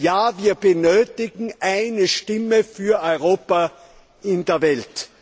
Ja, wir benötigen eine Stimme für Europa in der Welt.